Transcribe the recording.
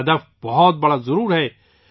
ہدف بہت بڑا ضرور ہے